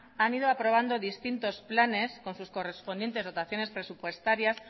han ido aprobando distintos planes con sus correspondientes dotaciones presupuestarias